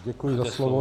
Děkuji za slovo.